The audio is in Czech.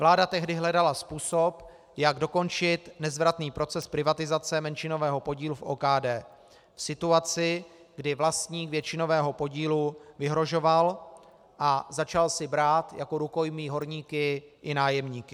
Vláda tehdy hledala způsob, jak dokončit nezvratný proces privatizace menšinového podílu v OKD, v situaci, kdy vlastník většinového podílu vyhrožoval a začal si brát jako rukojmí horníky i nájemníky.